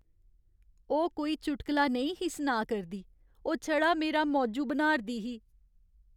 ओह् कोई चुटकला नेईं ही सुनाऽ करदी, ओह् छड़ा मेरा मौजू बनाऽ'रदी ही।